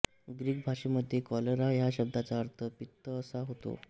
Greek भाषेमध्ये cholera या शब्दाचा अर्थ पित्तअसा होतो